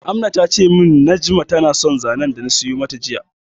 Amna tace min Najma na son zanen dana siyo mata jiya